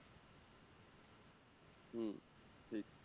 হম ঠিক